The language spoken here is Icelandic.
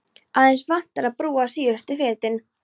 Aðeins vantar að brúa síðustu fetin.